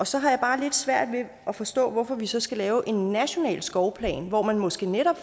så har jeg bare lidt svært ved at forstå hvorfor vi så skal lave en national skovplan hvor man måske netop